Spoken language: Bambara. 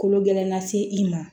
Kolo gɛlɛn na se i ma